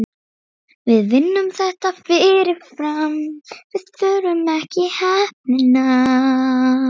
Það væri mjög gaman.